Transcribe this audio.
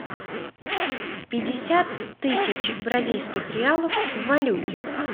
пятьдесят тысяч бразильских реалов в валюте